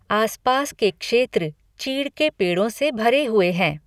आस पास के क्षेत्र चीड़ के पेड़ों से भरे हुए हैं।